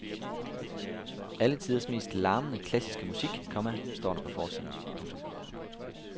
Alle tiders mest larmende klassiske musik, komma står der på forsiden. punktum